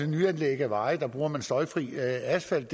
nyanlæg af veje hvor man bruger støjfri asfalt